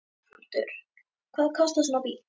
Höskuldur: Hvað kostar svona bíll?